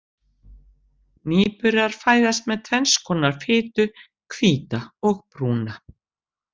Nýburar fæðast með tvenns konar fitu, hvíta og brúna.